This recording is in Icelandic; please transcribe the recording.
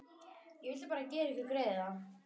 Ég vildi bara gera ykkur greiða.